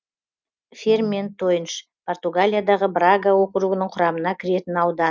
ферментойнш португалиядағы брага округінің құрамына кіретін аудан